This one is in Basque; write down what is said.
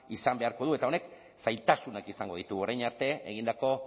izan beharko du eta honek zailtasunak izango ditu orain arte egindako